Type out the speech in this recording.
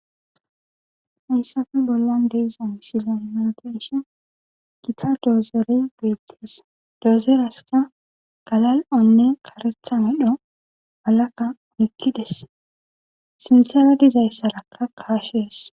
Hayssafe bollan deizan sila imenteshon gita doozere biites doozeraska galal'onne karetha midho alaka mikkides sintele dizayssarakka kaashees.